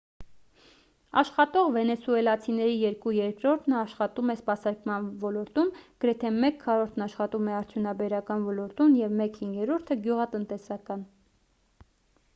աշխատող վենեսուելացիների երկու երրորդն աշխատում է սպասարկման ոլորտում գրեթե մեկ քառորդն աշխատում է արդյունաբերական ոլորտում և մեկ հինգերորդը գյուղատնտեսական